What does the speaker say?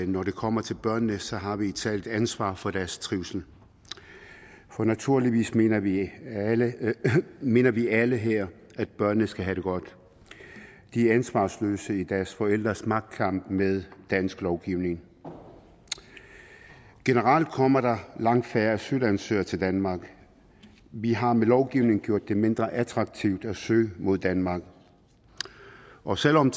når det kommer til børnene så har vi et socialt ansvar for deres trivsel for naturligvis mener vi mener vi alle her at børnene skal have det godt de er ansvarsløse i deres forældres magtkamp med dansk lovgivning generelt kommer der langt færre asylansøgere til danmark vi har med lovgivning gjort det mindre attraktivt at søge mod danmark og selv om